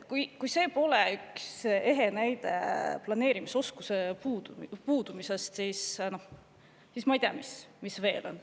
Kui see pole üks ehe näide planeerimisoskuse puudumise kohta, siis ma ei tea, mis see veel on.